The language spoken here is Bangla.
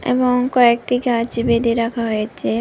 এবং কয়েকটি গাছ বেঁধে রাখা হয়েছে।